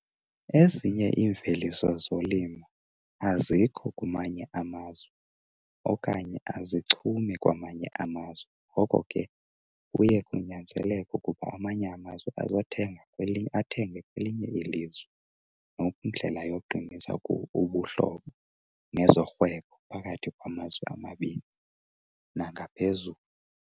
Ezinye iimveliso zolimo azikho kumanye amazwe okanye azichumi kwamanye amazwe. Ngoko ke kuye kunyanzeleke ukuba amanye amazwe azothenga, athenge kwelinye ilizwe ngokwendlela yokuqinisa ubuhlobo nezorhwebo phakathi kwamazwe amabini nangaphezulu.